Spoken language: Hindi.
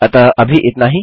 अतः अभी इतना ही